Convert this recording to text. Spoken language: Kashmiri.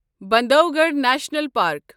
Bandhavgarh national park